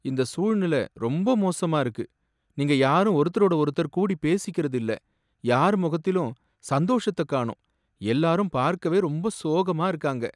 இந்த சூழ்நிலை ரொம்ப மோசமா இருக்கு. நீங்க யாரும் ஒருத்தரோட ஒருத்தர் கூடிபேசிக்கிறது இல்ல, யார் முகத்திலும் சந்தோஷத்த காணோம், எல்லாரும் பார்க்கவே ரொம்ப சோகமா இருக்காங்க.